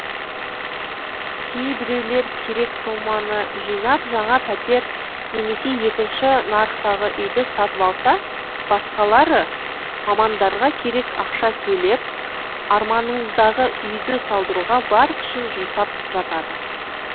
кейбіреулер керек соманы жинап жаңа пәтер немесе екінші нарықтағы үйді сатып алса басқалары мамандарға керек ақша төлеп арманыңыздағы үйді салдыруға бар күшін жұмсап жатады